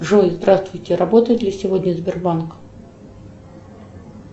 джой здравствуйте работает ли сегодня сбербанк